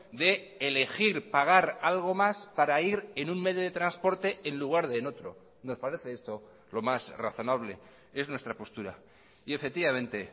de elegir pagar algo más para ir en un medio de transporte en lugar de en otro nos parece esto lo más razonable es nuestra postura y efectivamente